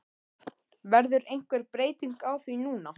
Verður einhver breyting á því núna?